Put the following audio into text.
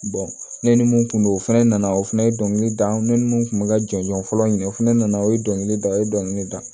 ne ni mun tun don o fɛnɛ nana o fana ye dɔnkili da ne ni mun tun bɛ ka jɔnjɔn fɔlɔ ɲini o fana na o ye dɔnkilida o ye dɔnkili da